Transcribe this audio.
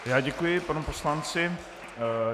Já děkuji panu poslanci.